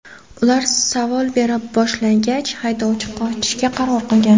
Ular savol bera boshlagach, haydovchi qochishga qaror qilgan.